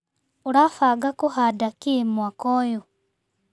ũrabanga kũhanda kĩ mwaka ũyũ.